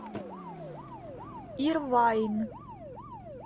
ирвайн